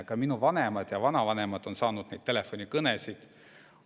Ka minu vanemad ja vanavanemad on saanud neid telefonikõnesid.